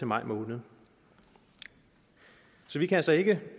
maj måned så vi kan altså ikke